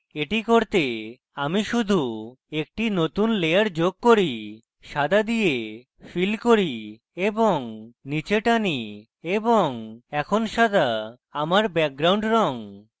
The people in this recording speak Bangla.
এটি করতে আমি শুধু একটি নতুন layer যোগ করি সাদা দিয়ে fill করি এবং নীচে টানি এবং এখন সাদা আমার background রঙ